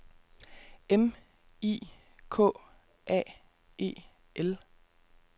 M I K A E L